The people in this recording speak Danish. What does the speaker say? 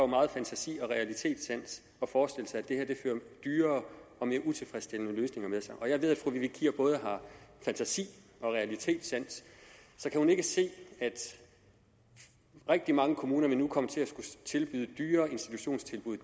meget fantasi og realitetssans at forestille sig at det her fører dyrere og mere utilfredsstillende løsninger med sig jeg ved at fru vivi kier både har fantasi og realitetssans så kan hun ikke se at rigtig mange kommuner nu vil komme til at tilbyde dyrere institutionstilbud